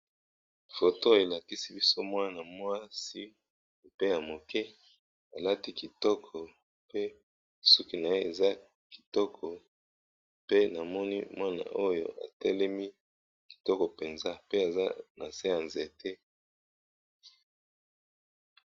Foto oyo elakisi biso mwana mwasi ya muke alati kitoko ba bongisi ye suki atelemi nase ya nzete.